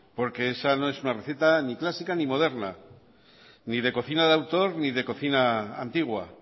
porque esa no es una receta ni clásica ni moderna ni de cocina de autor ni de cocina antigua